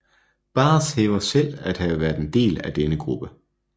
Baz hævder selv at have været en del af denne gruppe